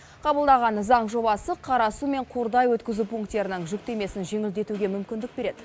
қабылдаған заң жобасы қарасу мен қордай өткізу пункттерінің жүктемесін жеңілдетуге мүмкіндік береді